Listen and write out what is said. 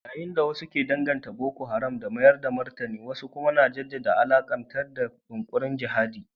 Yayin da wasu ke danganta Boko Haram da mayar da martani wasu kuma na jaddada alakarta da yunkurin jihadi.